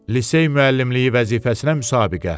Lisey müəllimliyi vəzifəsinə müsabiqə.